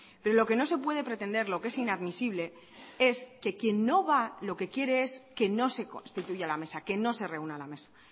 pero lo que no se puede pretender lo que es inadmisible es que quien no va lo que quiere es que no se constituya la mesa que no se reúna la mesa